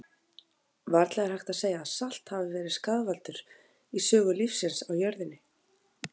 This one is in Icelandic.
Varla er hægt að segja að salt hafi verið skaðvaldur í sögu lífsins á jörðinni.